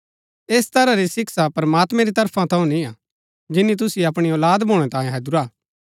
ऐह तरह री शिक्षा प्रमात्मैं री तरफा थऊँ निय्आ जिनी तुसिओ अपणी औलाद भूणै तांये हैदुरा